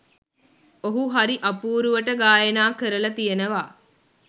ඔහු හරි අපූරුවට ගායනා කරලා තියෙනවා